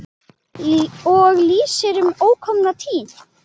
Og lýsir um ókomna tíð.